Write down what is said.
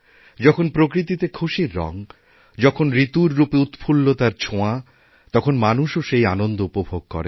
যখন প্রকৃতিতে খুশির রঙ যখনঋতুর রূপে উৎফুল্লতার ছোঁয়া তখন মানুষও সেই আনন্দ উপভোগ করে